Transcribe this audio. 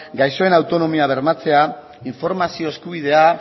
gaixoen autonomia bermatzea informazio eskubidea